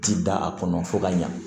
Ti da a kɔnɔ fo ka ɲa